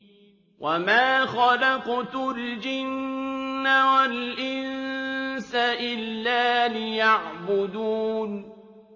وَمَا خَلَقْتُ الْجِنَّ وَالْإِنسَ إِلَّا لِيَعْبُدُونِ